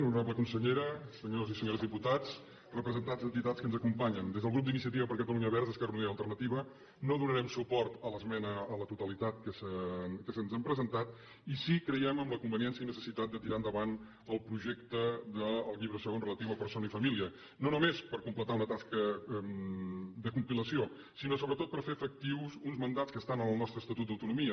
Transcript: honorable consellera senyors i senyores diputats representants d’entitats que ens acompanyen des del grup d’iniciativa per catalunya verds esquerra unida i alternativa no donarem suport a l’esmena a la totalitat que se’ns ha presentat i sí que creiem en la conveniència i necessitat de tirar endavant el projecte del llibre segon relatiu a persona i família no només per completar una tasca de compilació sinó sobretot per fer efectius uns mandats que estan en el nostre estatut d’autonomia